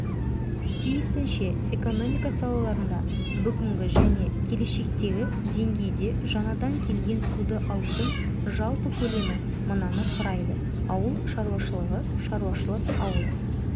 тиісінше экономика салаларында бүгінгі және келешектегі деңгейде жаңадан келген суды алудың жалпы көлемі мынаны құрайды ауыл шаруашылығы шаруашылық-ауыз